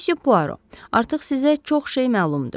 Müsyo Poirot, artıq sizə çox şey məlumdur.